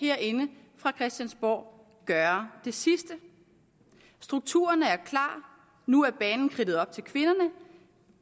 herinde fra christiansborg gøre det sidste strukturerne er klar nu er banen kridtet op til kvinderne